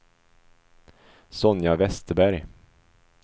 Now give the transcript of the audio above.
Sonja Vesterberg